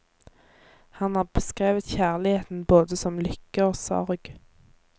Han har beskrevet kjærligheten både som lykke og sorg.